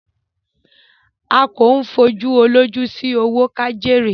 à kò fòjú olóòjú sí òwó kájéré.